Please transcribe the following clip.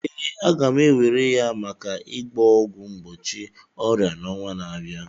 Ee, a ga m ewere ya maka ịgba ọgwụ mgbochi ọrịa n'ọnwa na abịa.